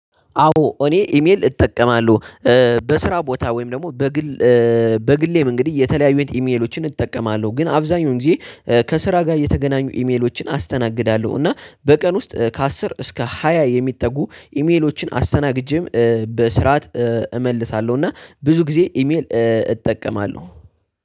አዎ እኔ ኢሜል እጠቀማለሁ በስራ ቦታ ወይም ደግሞ በግል በግሌም እንግዲህ የተለያዩኝ ኢሜሎችን እጠቀማለሁ ግን አብዛኛውን ጊዜ ከስራ ጋር እየተገናኙ ኢሜሎችን አስተናግዳለሁ እና በቀን ውስጥ ከአስር እስከ ሃያ የሚጠጉ ኢሜሎችን አስተናግጄም በስርዓት እመልሳለሁ። እና ብዙ ጊዜ ኢሜል እጠቀማለሁ።